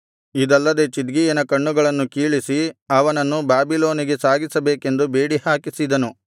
ಇದಲ್ಲದೆ ಚಿದ್ಕೀಯನ ಕಣ್ಣುಗಳನ್ನು ಕೀಳಿಸಿ ಅವನನ್ನು ಬಾಬಿಲೋನಿಗೆ ಸಾಗಿಸಬೇಕೆಂದು ಬೇಡಿಹಾಕಿಸಿದನು